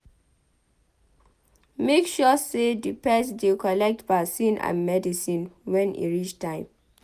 Make sure sey di pet dey collect vaccine and medicine when e reach time